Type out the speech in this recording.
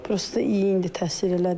Prosto iyi indi təsir elədi.